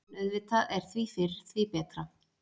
En auðvitað er því fyrr, því betra.